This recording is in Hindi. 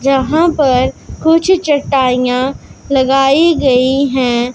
जहां पर कुछ चटाइयां लगाई गई है।